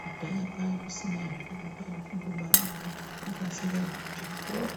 Kudhaya kwakusina izvozvo kwaiva kungobara ngokuti vanga vasingaendi kuchikora